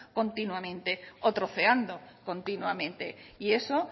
continuamente o troceando continuamente y eso